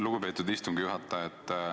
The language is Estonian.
Lugupeetud istungi juhataja!